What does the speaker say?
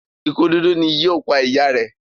ikú dúdú ní yíò pá ìyá rẹ.